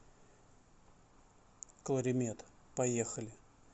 кларимед поехали